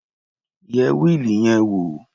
Yẹ wíìlì yẹn wò.